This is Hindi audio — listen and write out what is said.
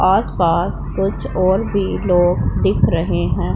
आस पास कुछ और भी लोग दिख रहें हैं।